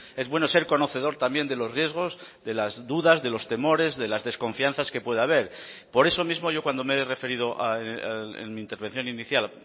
es bueno ser conocedor también de los riesgos de las dudas de los temores de las desconfianzas que puede haber por eso mismo yo cuando me he referido en mi intervención inicial